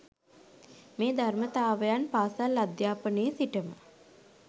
මේ ධර්මතාවයන් පාසල් අධ්‍යාපනයේ සිටම